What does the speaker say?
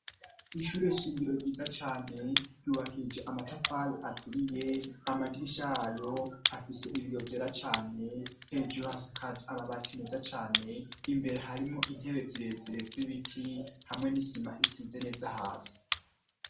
Ishure shingiro ryiza cane ryubakije amatafali aturiye amadirisha yayo afise ibiyobyera cane hejuru hasi akaji amabati meza cane imbere harimo intebe zirezirets ibiti hamwe n'isima isize neza hasi.